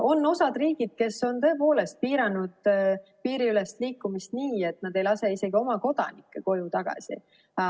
On osa riike, kes on tõepoolest piiranud piiriülest liikumist nii, et nad ei lase isegi oma kodanikke koju tagasi.